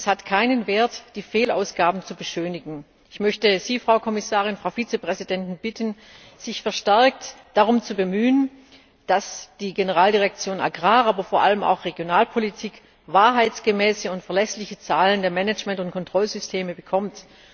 Denn es hat keinen Wert, die Fehlausgaben zu beschönigen. Ich möchte Sie, Frau Kommissarin, Frau Vizepräsidentin, bitten, sich verstärkt darum zu bemühen, dass die Generaldirektion AGRI, aber vor allem auch die GD Regionalpolitik wahrheitsgemäße und verlässliche Zahlen der Management und Kontrollsysteme bekommen.